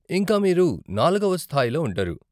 ఇంకా మీరు నాలుగవ స్థాయిలో ఉంటారు.